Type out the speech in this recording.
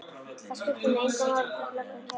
Það skipti mig engu máli þótt löggan kæmi.